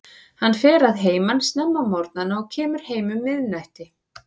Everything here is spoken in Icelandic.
Hann fer að heiman snemma á morgnana og kemur heim um miðnætti.